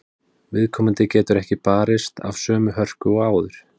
Viðkomandi getur ekki barist af sömu hörku og áður.